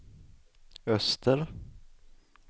öster